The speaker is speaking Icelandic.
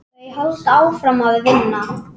Þau halda áfram að vinna.